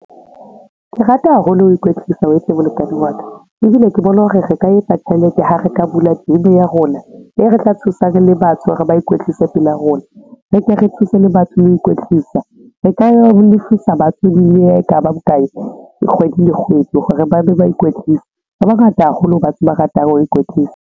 Ke rata haholo ho ikwetlisa weitsi molekane wa ka, ebile ke bona hore re ka etsa tjhelete ha re ka bula gym ya rona, e re tla thusang le batho hore ba ikwetlise pela rona, re ke re thuse le batho le ho ikwetlisa. Re ka ya ho lefisa batho le ha ekaba bokae kgwedi le kgwedi hore ba be ba ikwetlise. Ba bangata haholo batho ba ratang ho ikwetlisa.